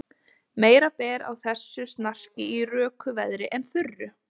Meira ber á þessu snarki í röku veðri en þurru.